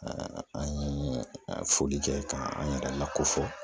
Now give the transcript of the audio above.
an ye foli kɛ ka an yɛrɛ lako fɔ